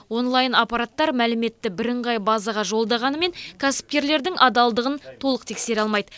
онлайн аппараттар мәліметті бірыңғай базаға жолдағанымен кәсіпкерлердің адалдығын толық тексере алмайды